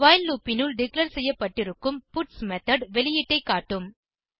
while loop னுள் declare செய்யப்பட்டிருக்கும் பட்ஸ் மெத்தோட் வெளியீட்டை காட்டும்